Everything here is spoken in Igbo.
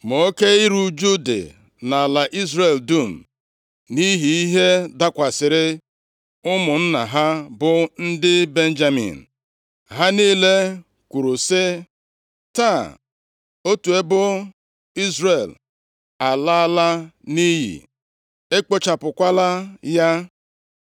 Ma oke iru ụjụ dị nʼala Izrel dum nʼihi ihe dakwasịrị ụmụnna ha, bụ ndị Benjamin. Ha niile kwuru sị, “Taa, otu ebo Izrel alaala nʼiyi, e kpochapụla ya.